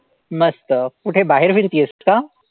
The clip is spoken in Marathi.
मस्त. कुठे बाहेर फिरतेस का?